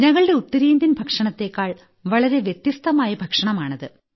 ഞങ്ങളുടെ ഉത്തരേന്ത്യൻ ഭക്ഷണത്തേക്കാൾ വളരെ വ്യത്യസ്തമായ ഭക്ഷണമാണ്